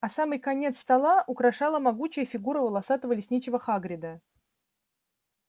а самый конец стола украшала могучая фигура волосатого лесничего хагрида